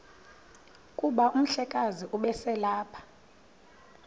kuba umhlekazi ubeselelapha